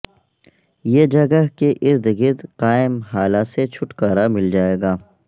یہ جگہ کے ارد گرد قائم ہالہ سے چھٹکارا مل جائے گا